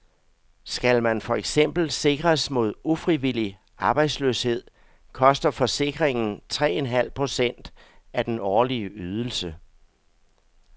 Skal man for eksempel sikres mod ufrivillig arbejdsløshed, koster forsikringen tre en halv procent af den årlige ydelse.